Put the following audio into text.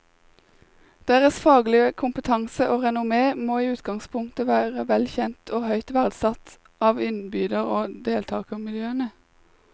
Deres faglige kompetanse og renommé må i utgangspunktet være vel kjent og høyt verdsatt av innbyder og deltagermiljøene.